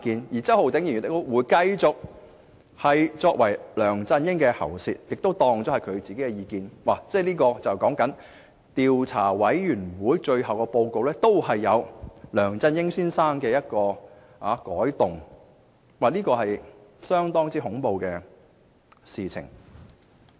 而周浩鼎議員亦會繼續充當梁振英的喉舌，把其意見當作是自己的意見，連專責委員會的最終報告，也任由梁振英先生改動，這是相當恐怖的事情。